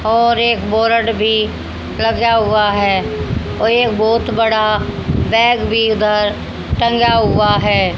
और एक बोरड भी लगा हुआ है और एक बहुत बड़ा बैग भी उधर टंगा हुआ है।